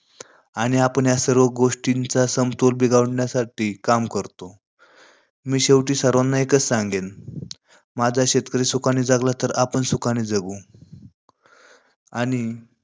आणि आपण या सर्व गोष्टींचा समतोल बिघडण्यासाठी काम करतो. मी शेवटी सर्वांना एकच सांगेल, माझा शेतकरी सुखाने जगाला तर आपण सुखाने जगू आणि